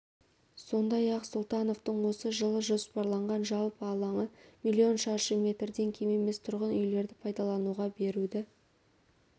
әкімдіктің жұмысы мемлекет басшысы атап өткен бес әлеуметтік бастаманы жүзеге асыруға бағытталуы керек осы міндеттерді атқару